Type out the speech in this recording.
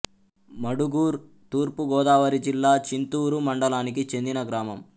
మడుగూర్ తూర్పు గోదావరి జిల్లా చింతూరు మండలానికి చెందిన గ్రామం